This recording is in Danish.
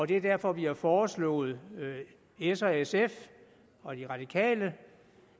det er derfor vi har foreslået s og sf og de radikale